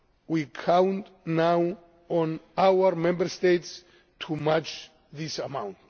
March. We count now on our Member States to match this